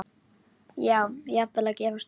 Já, jafnvel að gefast upp.